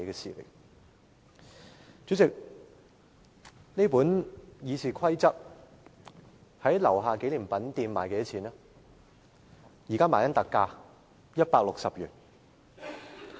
我手持的這本《議事規則》，在立法會大樓紀念品店現正以特價160元發售。